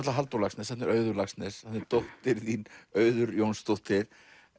Halldór Laxness þarna er Auður Laxness þarna er dóttir þín Auður Jónsdóttir